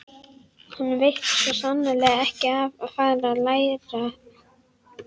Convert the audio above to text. Honum veitti svo sannarlega ekki af að fara að læra.